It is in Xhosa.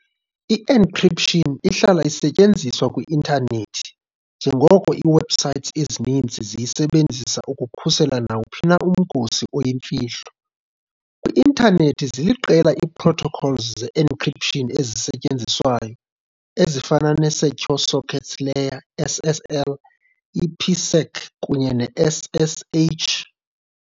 I-Encryption ihlala isetyenziswa kwi-Intanethi, njengoko ii-web sites ezininzi ziyisebenzisa ukukhusela nawuphi na umgosi oyimfihlo. Kwi-Intanethi, ziliqela ii-protocols ze-encryption ezisetyenziswayo, ezifana ne-Secure Sockets Layer, SSL, i-IPsec, kunye ne-SSH.